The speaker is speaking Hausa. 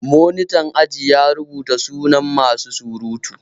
Monitan aji ya rubuta sunan masu surutu